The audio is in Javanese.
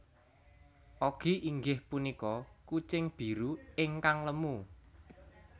Oggy inggih punika kucing biru ingkang lemu